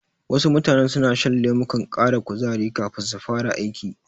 Wasu mutanen suna shan lemukan ƙara kuzari kafin su fara aiki.